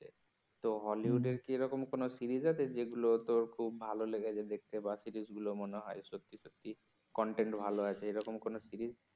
তো হলিউড এরকম কি কোন সিরিজ আছে যেগুলো তোর খুব ভাল লেগেছে দেখতে বা সিরিজ গুলো মনে হয় সত্যি সত্যি content আছে এরকম কোন সিরিজ